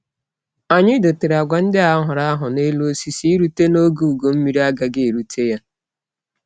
Anyi dotere agwa ndi a ghoro agho n'elu osisi irute n'ogeugo mmiri agaghi erute ya.